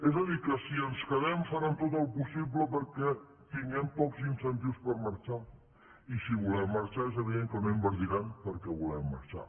és a dir que si ens quedem faran tot el possible perquè tinguem pocs incentius per marxar i si volem marxar és evident que no invertiran perquè volem marxar